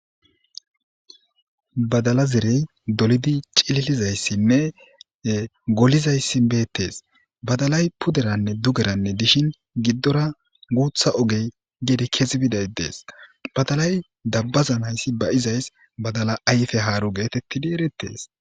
badala zerey dolidi cililizayssinne golizayssi beettees badalay puderanne dugeranne dishin giddora guutha ogey gedi kezi biday dees badalay dabbazanayssi de7izays badala ayfe haaru geetettidi erettees